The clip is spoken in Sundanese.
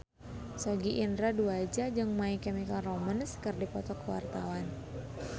Sogi Indra Duaja jeung My Chemical Romance keur dipoto ku wartawan